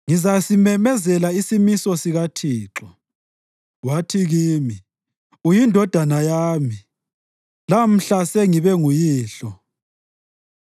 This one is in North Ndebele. Ngizasimemezela isimiso sikaThixo : Wathi kimi, “UyiNdodana yami; lamhla sengibe nguyihlo.